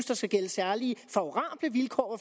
der skal gælde særlige favorable vilkår